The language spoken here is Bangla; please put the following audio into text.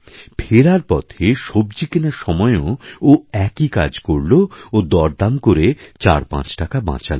ফেরার পথে সবজিকেনার সময়ও ও একই কাজ করল ও দরদাম করে চারপাঁচটাকা বাঁচাল